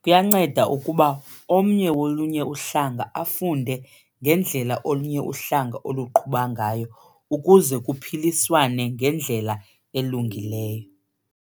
Kuyanceda ukuba omnye wolunye uhlanga afunde ngendlela olunye uhlanga oluqhuba ngayo ukuze kuphiliswane ngendlela elungileyo.